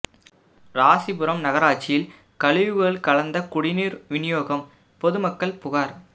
ராசிபுரம் நகராட்சியில் கழிவுகள் கலந்த குடிநீர் விநியோகம் பொதுமக்கள் புகார்